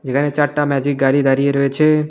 যেখানে চারটা ম্যাজিক গাড়ি দাঁড়িয়ে রয়েছে।